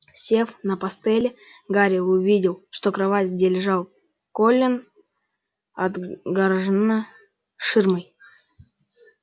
сев на постели гарри увидел что кровать где лежал колин отгорожена ширмой